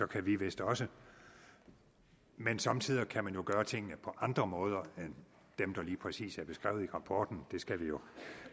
kan vi vist også men somme tider kan man jo gøre tingene på andre måder end dem der lige præcis er beskrevet i rapporten det skal vi jo